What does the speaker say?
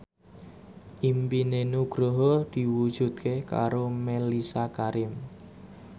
impine Nugroho diwujudke karo Mellisa Karim